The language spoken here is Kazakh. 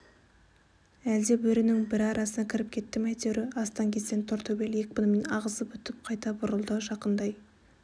әлде бөрінің бірі арасына кіріп кетті ме әйтеуір астан-кестен тортөбел екпінімен ағызып өтіп қайта бұрылды жақындай